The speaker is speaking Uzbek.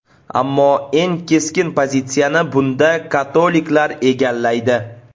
Ammo eng keskin pozitsiyani bunda katoliklar egallaydi.